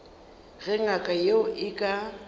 ge ngaka yeo e ka